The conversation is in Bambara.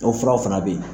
O furaw fana bɛ yen